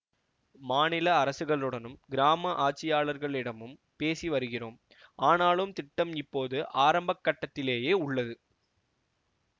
மாநில அரசுகளுடனும் கிராம ஆட்சியாளர்களிடமும் பேசி வருகிறோம் ஆனாலும் திட்டம் இப்போது ஆரம்ப கட்டத்திலேயே உள்ளது